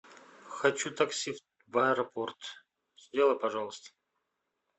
хочу такси в аэропорт сделай пожалуйста